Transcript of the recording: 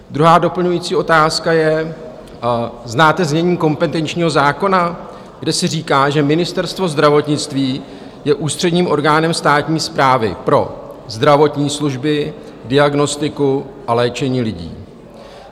Druhá doplňující otázka je: Znáte znění kompetenčního zákona, kde se říká, že Ministerstvo zdravotnictví je ústředním orgánem státní správy pro zdravotní služby, diagnostiku a léčení lidí?